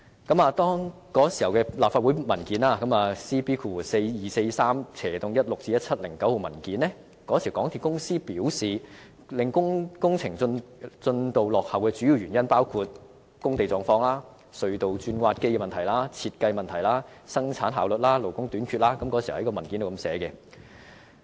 根據當時的立法會 CB4243/16-17 號文件，港鐵公司表示，令工程進度落後的主要原因，包括：工地狀況、隧道鑽挖機事宜、項目設計、生產效率、勞工短缺等，這是當時文件的說法。